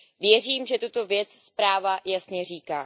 Věřím, že tuto věc zpráva jasně říká.